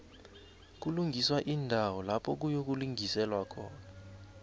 kulungiswa iindawo lapha kuyokulingiselwa khona